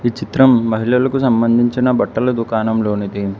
చిత్రం మహిళలకు సంబంధించిన బట్టల దుకాణం లోనిది.